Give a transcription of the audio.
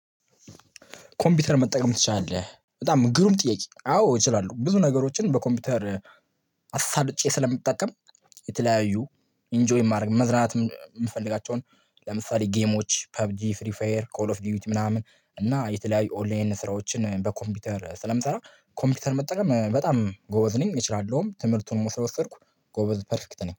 ኮምፒውተር መጠቀም ትችላለህ? በጣም ግሩም ጥያቄ አዎ እችላለሁ ብዙ ነገሮችን በኮምፒውተር አሳልጬ ስለምጠቀም የተለያዩ ኢንጆይ ማድረግ መዝናናት የምፈልጋቸውን ለምሳሌ ጌሞች ፐብጂ ፍሪፈየር ኮል ኦፍ ዲዊት ምናምን እና የተለያዩ ኦንላይን ስራዎችን በኮምፒውተር ስለምሰራ ኮምፒውተር መጠቀም በጣም ጎበዝ ነኝ እችላለሁም ትምህርቱን ስለወሰድኩ ጎበዝ ፐርፌክት ነኝ